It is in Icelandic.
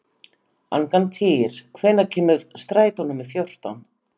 Angantýr, hvenær kemur strætó númer fjórtán?